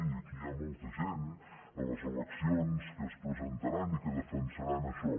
i aquí hi ha molta gent a les eleccions que es presentaran i que defensaran això